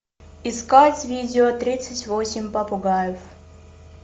искать видео тридцать восемь попугаев